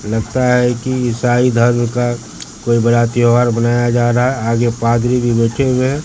लगता है की इसाई धर्म का कोई बड़ा त्योहार मनाया जा रहा है आगे पादरी भी बैठे हुए है।